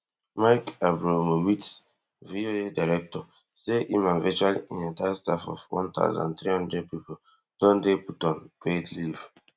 mike abromowitz VOA director say e and virtual in entire staff of one thousand, three hundred pipo don dey put on paid leave